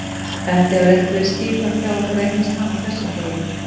Þetta hefur ekki verið skipulagt hjá ykkur að eignast hana á þessum degi?